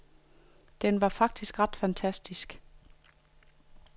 Den var faktisk ret fantastisk.